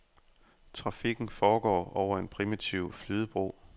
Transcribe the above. Trafikken foregår over en primitiv flydebro.